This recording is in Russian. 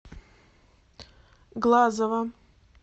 глазова